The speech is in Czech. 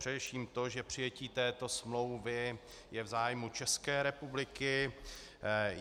Především to, že přijetí této smlouvy je v zájmu České republiky.